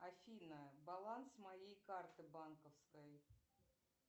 афина баланс моей карты банковской